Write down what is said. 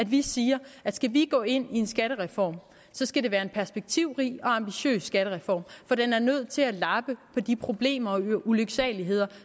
vi siger at skal vi gå ind i en skattereform skal det være en perspektivrig og ambitiøs skattereform for den er nødt til at lappe på de problemer og ulyksaligheder